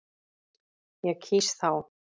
Ég kýs þá.